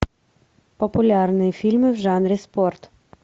популярные фильмы в жанре спорт